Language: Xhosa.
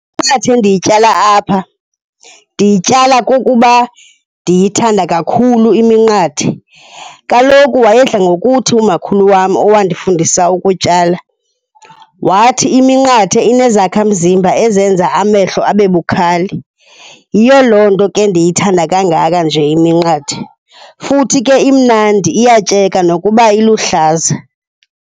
Iminqathe endiyityala apha ndiyityala kukuba ndiyithanda kakhulu iminqathe. Kaloku wayedla ngokuthi umakhulu wam owandifundisa ukutyala, wathi iminqathe inezakhamzimba ezenza amehlo abe bukhali. Yiyo loo nto ke ndiyithanda kangaka nje iminqathe. Futhi ke imnandi iyatyeka nokuba iluhlaza.